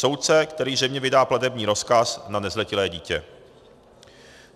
Soudce, který zřejmě vydá platební rozkaz na nezletilé dítě.